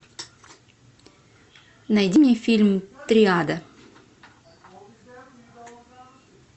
найди мне фильм триада